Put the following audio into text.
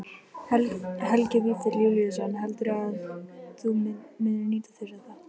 Helgi Vífill Júlíusson: Heldurðu að þú munir nýta þér þetta?